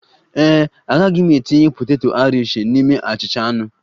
Ee e, agaghị m etinye poteto Airishi n'ime achịcha anụ